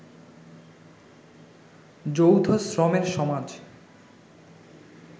যৌথ শ্রমের সমাজ